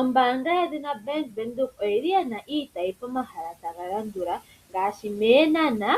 Ombaanga yedhina Bank Windhoek oyi li yina iitayi pomahala taga landula, ngaashi; mEenhana,